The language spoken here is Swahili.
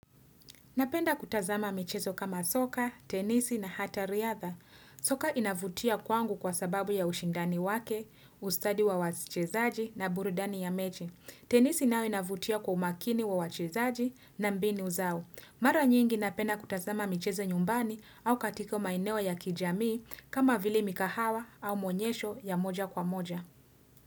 Napenda kutazama michezo kama soka, tenisi na hata riatha. Soka inavutia kwangu kwa sababu ya ushindani wake, ustadi wa wachezaji na burudani ya mechi. Tenisi nao inavutia kwa umakini wa wachezaji na mbinu zao. Mara nyingi napenda kutazama michezo nyumbani au katiko maeneo ya kijamii kama vile mikahawa au maonyesho ya moja kwa moja.